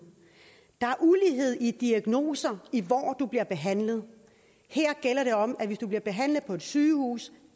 i diagnoser i hvor du bliver behandlet her gælder det om at hvis du bliver behandlet på et sygehus